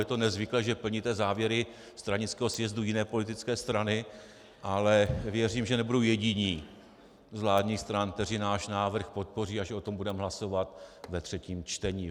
Je to nezvyklé, že plníte závěry stranického sjezdu jiné politické strany, ale věřím, že nebudou jediní z vládních stran, kteří náš návrh podpoří, až o tom budeme hlasovat ve třetím čtení.